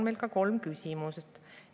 Meil on kolm küsimust.